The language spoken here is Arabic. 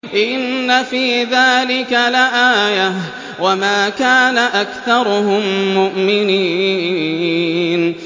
إِنَّ فِي ذَٰلِكَ لَآيَةً ۖ وَمَا كَانَ أَكْثَرُهُم مُّؤْمِنِينَ